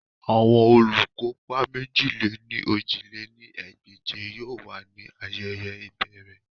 Awọn olukopa mèjì-lé-ní-ojì lé ní ẹgbẹ́je yoo wa ni ayẹyẹ iberè